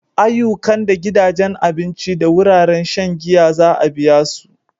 Ayyukan da gidajen abinci da wuraren shan giya za a biya su.